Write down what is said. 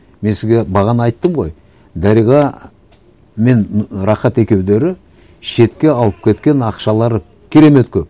мен сізге бағана айттым ғой дариға мен рахат екеулері шетке алып кеткен ақшалары керемет көп